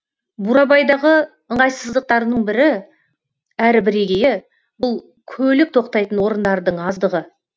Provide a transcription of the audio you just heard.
бурабайдағы ыңғайсыздықтардың бірі әрі бірегейі бұл көлік тоқтайтын орындардың аздығы